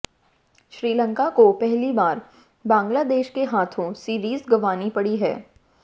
श्रीलंका को पहली बार बांग्लादेश के हाथों सीरीज गंवानी पड़ी है